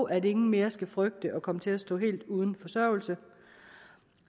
at ingen mere skal frygte at komme til at stå helt uden forsørgelse